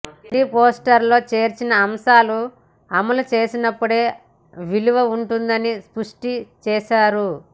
మేనిఫెస్టోలో చేర్చిన అంశాలు అమలు చేసినప్పుడే విలువ ఉంటుందని స్పష్టం చేశారు